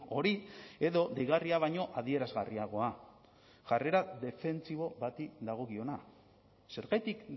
hori edo deigarria baino adierazgarriagoa jarrera defentsibo bati dagokiona zergatik